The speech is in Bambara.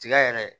Tiga yɛrɛ